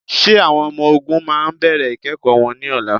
Ṣé àwọn ọmọ-ọ̀gùn máa bẹ̀rẹ̀ ikẹ́kọ wọn ní ọlá?